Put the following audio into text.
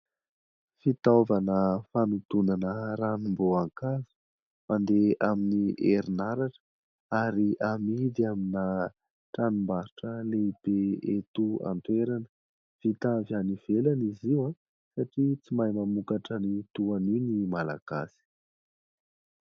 Fitaovana fanodonana ranom-boankazo mandeha amin'ny herinaratra, ary amidy amina tranombarotra lehibe eto an-toerana. Vita avy any ivelany izy io, satria tsy mahay mamokatra ny toa an'io ny malagasy.